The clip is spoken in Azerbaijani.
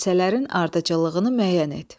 Hadisələrin ardıcıllığını müəyyən et.